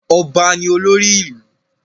Ọba ní olórí ìlú.